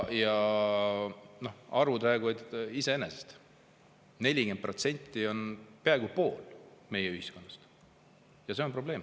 Arvud räägivad iseenda eest: 40% on peaaegu pool meie ühiskonnast, ja see on probleem.